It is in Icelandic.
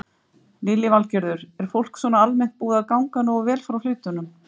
Lillý Valgerður: Er fólk svona almennt búið að ganga nógu vel frá hlutunum?